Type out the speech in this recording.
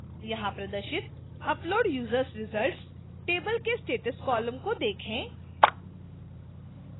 यहां प्रदर्शित upload users results table के status column को देखें